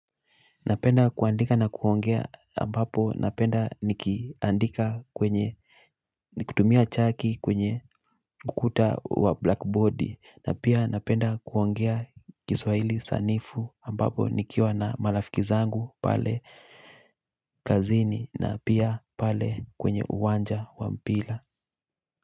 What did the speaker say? Napenda kuandika na kuongea ambapo napenda nikiandika kwenye nikutumia chaki kwenye ukuta wa blackboard na pia napenda kuongea Kiswahili sanifu ambapo nikiwa na marafiki zangu pale kazini na pia pale kwenye uwanja wa mpira.